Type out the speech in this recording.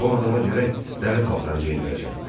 Bu adama gərək dəli paltarı geyindirəsən.